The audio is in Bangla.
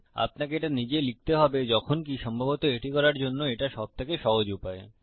আপনাকে এটা নিজে লিখতে হবে যখনকি সম্ভবত এটি করার জন্য এটা সবথেকে সহজ উপায়